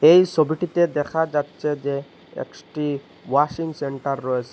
এই সবিটিতে দেখা যাচ্চে যে এক্সটি ওয়াশিং সেন্টার রয়েসে।